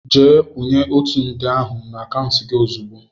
Jee kwúnye ọtu nde ahụ n' akauntu gị ozigbo!!!!!